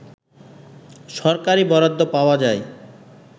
সরকারি বরাদ্দ পাওয়া যায়